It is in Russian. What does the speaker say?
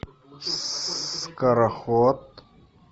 скороход